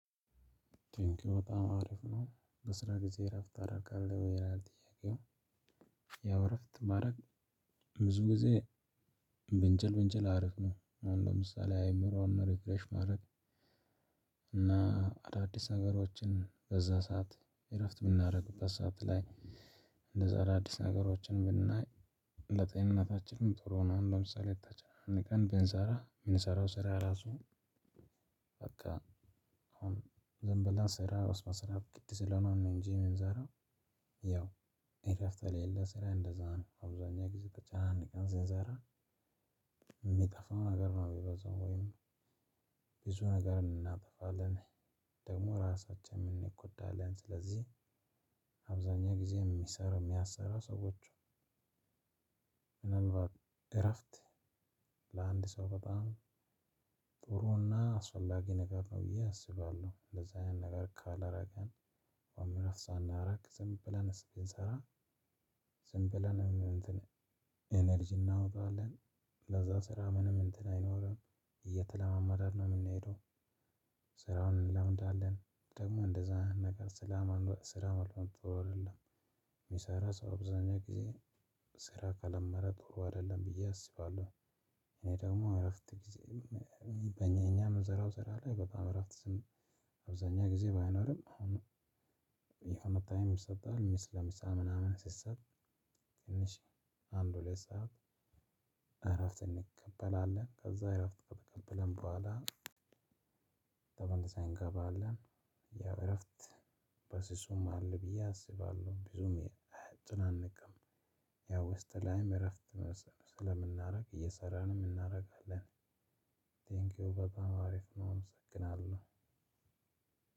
ቴንኪው በጣም አሪፍ ነው በስራ ጊዜ እረፍት ታደርጋለህ ወይ ይላል ጥያቄው? ያው እረፍት ማድረግ ብዙ ጊዜ በንችል በንችል አሪፍ ነው። አሁን ለምሳሌ አይምሮን ሪፍረሽ ማድረግ እና አዳዲስ ነገሮችን በዛ ሰዓት እረፍት ምናረግበት ሰዓት ላይ እንደዛ አዳዲስ ነገሮችን ብናይ ለጤንነታችንም ጥሩ ነው። ለምሳሌ ታች ቀን ብንሰራ ምንሰራው ስራ ራሱ በቃ አሁን ዝም ብለን ስራ ግድ ስለሆነ ነው እንጂ የምንሰራው። ያው በቃ አሁን ዝም ብለን ስራ ግድ ስለሆነ ነው እንጂ የምንሰራው። ያው እረፍት ለአንድ ሰው በጣም ጥሩና አስፈላጊ ነገር ነው ብየ አስባለሁ። እንደዚህ አይነት ነገር ካላረግን ውይም ደግሞ ሳናርግ ዝምብለን ስንሰራ ዝም ብለንም እንትን ኢነረጂም እናወጣለን። ለዛ ስራ ምንም እንትን አይኖርም እየተለማመድን ነው ምንሄደው። ስራም እንለምዳለን ደሞ እንደዛ ነገር ስራ መልመድ ጥሩ አይደለም የሚሰራ ሰው አብዛኛው ጊዜ ስራ ከለመደ ጥሩ አይደለም ብዬ አስባለሁ። እኔ ደግሞ እረፍት ጊዜዬን እኛ ምንሰራው ስራ ላይ በጣም የእረፍት ጊዜ አብዛኛው ጊዜ ባይኖርም። የሆነ ታይም ሲሰጥ ለምሳ ምናምን ሲሰጥ ትንሽ አንድ ሁለት ሰዓት እረፍት እንቀበላለን። ከዛ እረፍት ከተቀበልን በኋላ ተመልሰን እንገባለን። ያው እረፍት በስሱም አለ ብዬ አስባለው ብዙም አያጨናንቅም። ያው ውስጥ ላይም እረፍት ስለምናደርግ እየሰራንም እናደርጋለን። ቴንክ ዩ በጣም አሪፍ ነው አመሰግናለሁ።